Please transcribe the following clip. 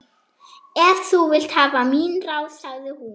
Ef þú vilt hafa mín ráð, sagði hún.